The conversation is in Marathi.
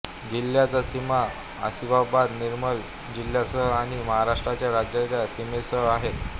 जिल्ह्याच्या सीमा आसिफाबाद निर्मल जिल्ह्यांसह आणि महाराष्ट्राच्या राज्याच्या सीमेसह आहेत